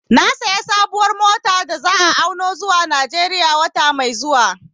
Na sayi sabuwar mota wadda za'a auno zuwa Najeriya wata mai zuwa